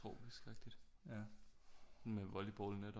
Tropisk agtigt med volleyballnet